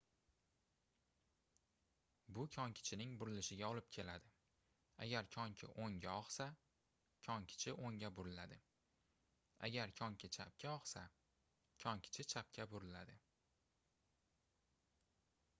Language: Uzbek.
bu konkichining burilishiga olib keladi agar konki oʻngga ogʻsa konkichi oʻngga buriladi agar konki chapga ogʻsa konkichi chapga buriladi